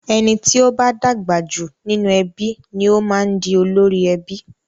Ẹni tí o bá dàgbà jù nínú ẹbí ni o máa ń di olórí ẹbí.